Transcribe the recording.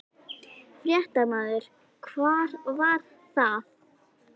Fréttamaður: Hvar var það?